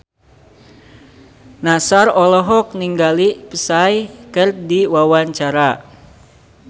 Nassar olohok ningali Psy keur diwawancara